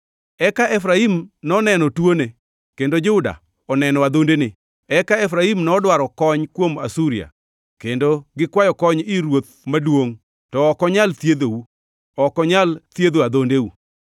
“Ka Efraim noneno tuone, kendo Juda oneno adhondene, eka Efraim nodwaro kony kuom Asuria, kendo gikwayo kony ir ruoth maduongʼ. To ok onyal thiedhou, ok onyal thiedho adhondeu.